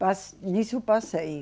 Mas nisso passei.